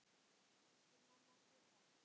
Elsku mamma Gurra.